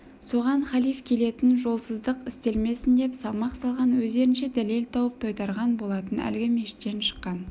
соған хилаф келетін жолсыздық істелмесін деп салмақ салған өздерінше дәлел тауып тойтарған болатын әлгі мешіттен шыққан